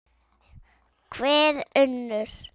Hver önnur?